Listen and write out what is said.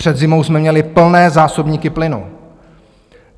Před zimou jsme měli plné zásobníky plynu.